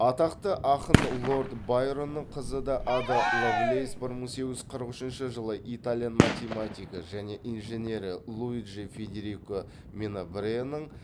атақты ақын лорд байронның қызы да ада лавлейс бір мың сегіз жүз қырық үшінші жылы итальян математигі және инженері луиджи федерико менабреаның